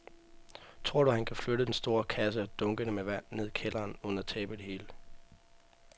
Tror du, at han kan flytte den store kasse og dunkene med vand ned i kælderen uden at tabe det hele?